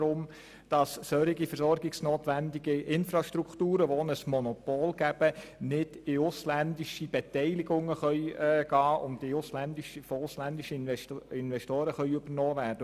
Solche Infrastrukturen, die auch ein Monopol ergeben, sollen nicht von ausländischen Investoren übernommen werden können.